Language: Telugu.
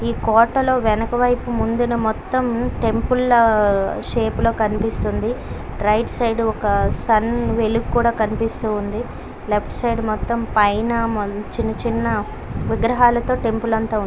ఈ కోటలో వెనుకవైపు ముందున మొత్తం టెంపుల్ ల షెప్ లో కనిపిస్తుంది రైట్ సైడ్ ఒక సన్ వెలుగు కూడా కనిపిస్తుంది. లెఫ్ట్ సైడ్ మొత్తం మీద మంచి చిన్న చిన్న విగ్రహాలతో టెంపుల్ అంతా ఉంది.